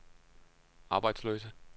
arbejdsløse